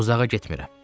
Uzağa getmirəm.